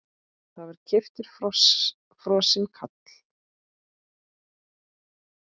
Það var keyptur frosinn kalli.